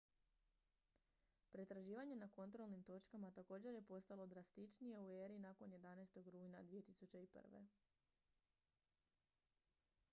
pretraživanje na kontrolnim točkama također je postalo drastičnije u eri nakon 11. rujna 2001